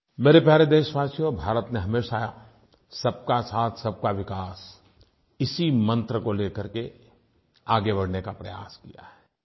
मेरे प्यारे देशवासियों भारत में हमेशा सबका साथसबका विकास इसी मंत्र को ले करके आगे बढ़ने का प्रयास किया है